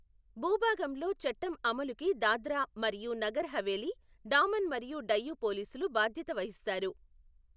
భూభాగంలో చట్టం అమలుకి దాద్రా మరియు నగర్ హవేలీ, డామన్ మరియు డయ్యూ పోలీసులు బాధ్యత వహిస్తారు.